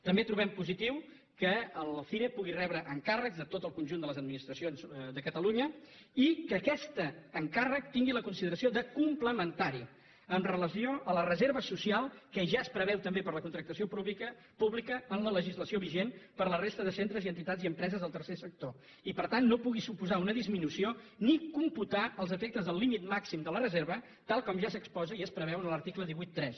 també trobem positiu que el cire pugui rebre encàrrecs de tot el conjunt de les administracions de catalunya i que aquest encàrrec tingui la consideració de complementari amb relació a la reserva social que ja es preveu també per a la contractació pública en la legislació vigent per a la resta de centres i entitats i empreses del tercer sector i per tant no pugui suposar una disminució ni computar als efectes del límit màxim de la reserva tal com ja s’exposa i es preveu en l’article cent i vuitanta tres